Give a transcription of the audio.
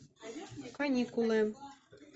каникулы